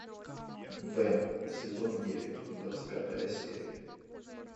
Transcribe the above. бен сезон девять двадцать пятая серия